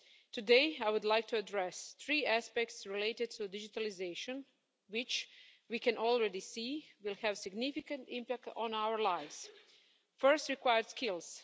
Today I would like to address three aspects related to digitalisation, which we can already see will have a significant impact on our lives first, required skills